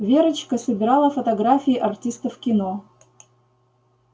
верочка собирала фотографии артистов кино